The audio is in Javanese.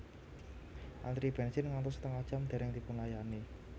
Antri bensin ngantos setengah jam dereng dipunlayani